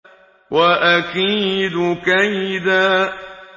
وَأَكِيدُ كَيْدًا